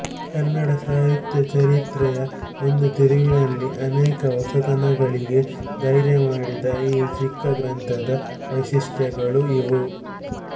ಕನ್ನಡ ಸಾಹಿತ್ಯ ಚರಿತ್ರೆಯ ಒಂದು ತಿರುವಿನಲ್ಲಿ ಅನೇಕ ಹೊಸತನಗಳಿಗೆ ಧೈರ್ಯ ಮಾಡಿದ ಈ ಚಿಕ್ಕ ಗ್ರಂಥದ ವೈಶಿಷ್ಟ್ಯಗಳು ಇವು